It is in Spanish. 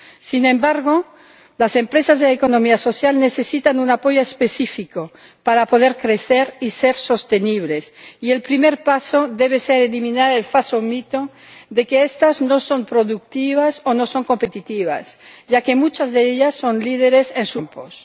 Sin embargo, las empresas de la economía social necesitan un apoyo específico para poder crecer y ser sostenibles y el primer paso debe ser eliminar el falso mito de que estas no son productivas o no son competitivas, ya que muchas de ellas son líderes en sus respectivos campos.